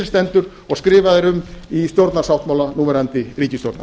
stendur og skrifað er um í stjórnarsáttmála núverandi ríkisstjórnar